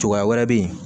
Cogoya wɛrɛ bɛ yen